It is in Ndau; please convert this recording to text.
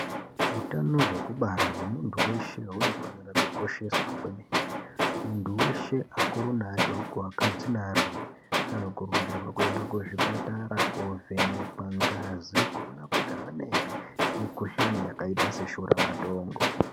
Hutano wekubara wemuntu weshe unofanira kukosheswa kwemene. Muntu weshe, akuru ne adoko, vakadzi ne arume, vanokurudzirwa kuenda kuzvipatara kovhenekwa ngazi kuona kuti havana here mikhuhlane yakaita seshuramatongo.